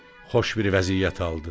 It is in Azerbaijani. Xoş bir vəziyyət aldı.